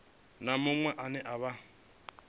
na muṅwe ane a vha